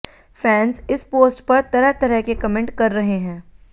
fans इस post पर तरह तरह के कमेंट कर रहे हैं